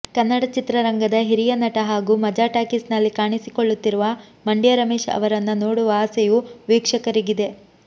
ಕನ್ನಡ ಚಿತ್ರರಂಗದ ಹಿರಿಯ ನಟ ಹಾಗೂ ಮಜಾ ಟಾಕೀಸ್ ನಲ್ಲಿ ಕಾಣಿಸಿಕೊಳ್ಳುತ್ತಿರುವ ಮಂಡ್ಯ ರಮೇಶ್ ಅವರನ್ನ ನೋಡುವ ಆಸೆಯೂ ವೀಕ್ಷಕರಿಗಿದೆ